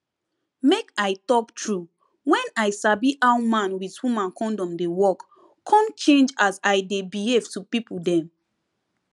make i talk true wen i sabi how man with woman kondom dey work come change as i dey behave to pipo dem